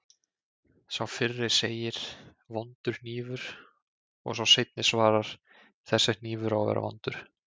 Sá fyrri segir: Vondur hnífur og sá seinni svarar: Þessi hnífur á að vera vondur